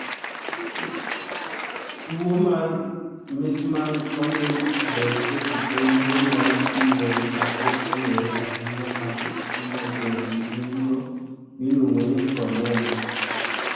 Tuwo mar Meesmann corneal dystrophy en tuwo mar nyuol ma ok ong'ere ahinya ma hinyo dend ng'injo miluongo ni cornea.